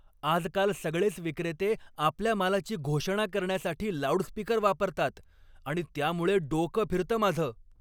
आजकाल सगळेच विक्रेते आपल्या मालाची घोषणा करण्यासाठी लाऊडस्पीकर वापरतात आणि त्यामुळे डोकं फिरतं माझं.